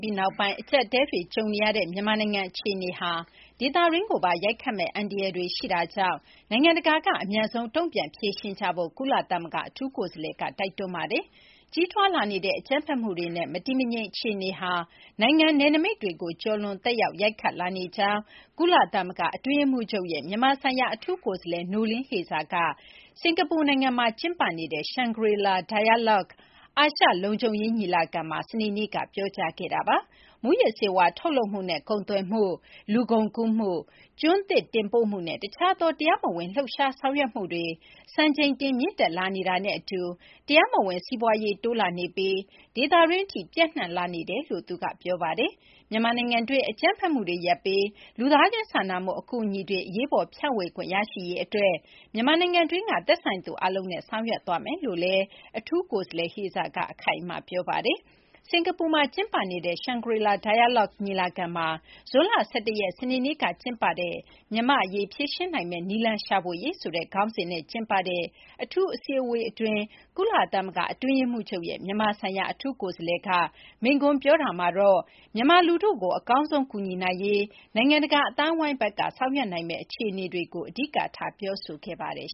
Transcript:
ပြီးနောက်ပိုင်း အကျပ်အတည်းတွေ ကြုံနေရတဲ့ မြန်မာနိုင်ငံ အခြေအနေဟာ ဒေသတွင်းကိုပါ ရိုက်ခတ်မယ့် အန္တရာယ်တွေ ရှိနေတာကြောင့် နိုင်ငံတကာက အမြန်ဆုံး တုံ့ပြန်ဖြေရှင်းကြဖို့ ကုလသမဂ္ဂ အထူးကိုယ်စားလှယ်က တိုက်တွန်းလိုက်ပါတယ်။ ကြီးထွားလာနေတဲ့ အကြမ်းဖက်မှုတွေနဲ့ မတည်မငြိမ် အခြေအနေဟာ နိုင်ငံနယ်နိမိတ်တွေကို ကျော်လွန် သက်ရောက် ရိုက်ခတ်လာနေကြောင်း ကုလသမဂ္ဂ အတွင်းရေးမှူးချုပ်ရဲ့ မြန်မာဆိုင်ရာ အထူးကိုယ်စားလှယ် Noeleen Heyzer က စင်ကာပူနိုင်ငံမှာ ကျင်းပနေတဲ့ Shangri-La Dialogue အာရှ လုံခြုံရေး ညီလာခံမှာ စနေနေ့က ပြောကြားခဲ့တာပါ။ မူးယစ်ဆေးဝါး ထုတ်လုပ်မှုနဲ့ ကုန်သွယ်မှု၊ လူကုန်ကူးမှု၊ ကျွန်းသစ် တင်ပို့မှုနဲ့ တခြားသော တရားမဝင် လှုပ်ရှားဆောင်ရွက်မှုတွေ စံချိန်တင် မြင့်တက်လာနေတာနဲ့ အတူ တရားမဝင် စီးပွားရေး တိုးလာနေပြီး ဒေသတွင်း အထိ ပျံ့နှံ့လာနေတယ်လို့လည်း ပြောပါတယ်။ မြန်မာနိုင်ငံတွင်း အကြမ်းဖက်မှုတွေရပ်ပြီး လူသားချင်းစာနာမှု အကူအညီတွေ အရေးပေါ် ဖြန့်ဝေခွင့် ရရှိရေး အတွက် မြန်မာနိုင်ငံတွင်းက သက်ဆိုင်သူ အားလုံးနဲ့ ဆောင်ရွက်သွားမယ်လို့လည်း အထူးကိုယ်စားလှယ် Hayzer က အခိုင်အမာ ပြောဆိုခဲ့ပါတယ်။ စကာၤပူနိုင်ငံမှာ ကျင်းပတဲ့ Shangri-La Dialogue ညီလာခံမှာ ဇွန်လ ၁၁ ရက် စနေနေ့က ကျင်းပတဲ့ မြန်မာ အရေး ဖြေရှင်းနိုင်မယ့် နည်းလမ်းရှာဖွေရေး ဆိုတဲ့ ခေါင်းစဉ်နဲ့ ကျင်းပတဲ့ အထူး အစည်းအဝေးအတွင်း ကုလသမဂ္ဂ အတွင်းရေးမှူးချုပ်ရဲ့ မြန်မာဆိုင်ရာ အထူးကိုယ်စားလှယ်က မိန့်ခွန်း ပြောခဲ့တာမှာတော့ မြန်မာလူထုကို အကောင်းဆုံး ကူညီနိုင်ရေး နိုင်ငံတကာ အသိုင်းအဝိုင်းဘက်က ဆောင်ရွက်နိုင်မယ့် အခြေအနေတွေကို အဓိကထားပြီး ပြောဆိုခဲ့ပါတယ်